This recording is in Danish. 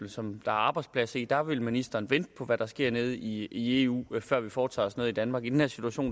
som der er arbejdspladser i og der vil ministeren vente på hvad der sker nede i eu før vi foretager os noget i danmark i den her situation